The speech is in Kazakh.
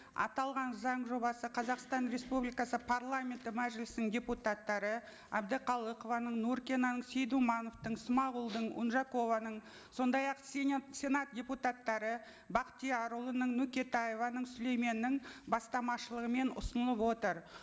аталған заң жобасы қазақстан республикасы парламенті мәжілісінің депутаттары әбдіқалықованың нуркинаның сейдумановтың смағұлдың унжакованың сондай ақ сенат депутаттары бақтиярұлының нөкетаеваның сүлейменнің бастамашылығымен ұсынылып отыр